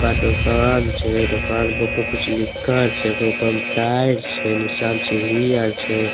एका दुकान छे। दुकान के ऊपर कुछ लिखल छे। एकर उपर में टाइल्स छे निचा में सीढ़ी आर छे।